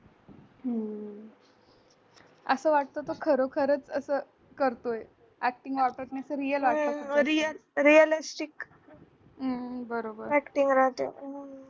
अस वाटत तो खरो खरच अस करतोय acting real वाटतो बरोबर